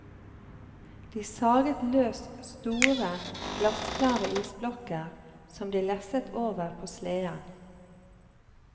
De saget løs store, glassklare isblokker som de lesset over på sleden.